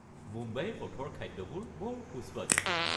মুম্বাইৰ পথৰ খাদ্যবোৰ বৰ সুস্বাদু।